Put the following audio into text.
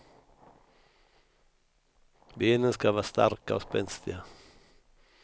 Benen ska vara starka och spänstiga.